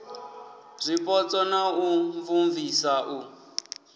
zwipotso na u imvumvusa u